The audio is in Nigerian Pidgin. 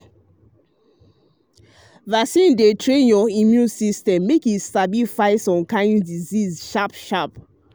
vaccine dey train your immune um system make e sabi fight some kind disease sharp disease sharp sharp.